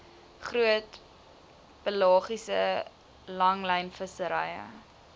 groot pelagiese langlynvissery